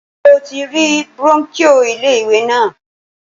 Ṣé o ti rí brónkíò ilé ìwé náà